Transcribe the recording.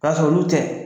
K'a sɔrɔ olu tɛ